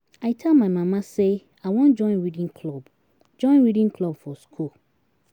I tell my mama say I wan join reading club join reading club for school.